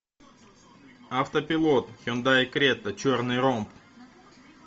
автопилот хендай крета черный ромб